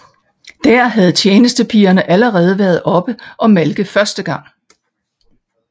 Der havde tjenestepigerne allerede været oppe og malke første gang